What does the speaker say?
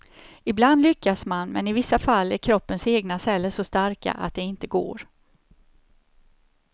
Ibland lyckas man, men i vissa fall är kroppens egna celler så starka att det inte går.